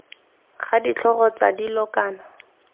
ga ditlhogo tsa dilo kana